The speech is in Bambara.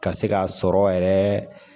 Ka se k'a sɔrɔ yɛrɛ